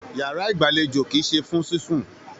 Yàrá igbalejo kìí ṣe fún sisùn.